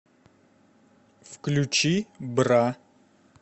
включи бра